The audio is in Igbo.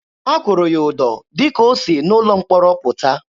A kụrụ ya ụdọ dịka o si n'ụlọ mkpọrọ pụta.